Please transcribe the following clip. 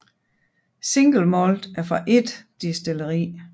Single Malt er fra ét destilleri